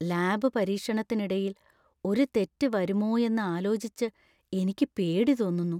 Lab പരീക്ഷണത്തിനിടയിൽ ഒരു തെറ്റ് വരുമോയെന്നു ആലോചിച്ച് എനിക്ക് പേടി തോന്നുന്നു.